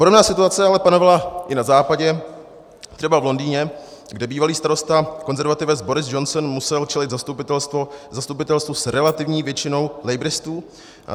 Podobná situace ale panovala i na Západě, třeba v Londýně, kde bývalý starosta konzervativec Boris Johnson musel čelit zastupitelstvu s relativní většinou labouristů.